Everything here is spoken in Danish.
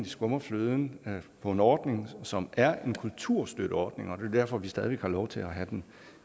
skummer fløden på en ordning som er en kulturstøtteordning og det er derfor at vi stadig har lov til at have den